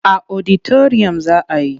A oditariyam za a yi.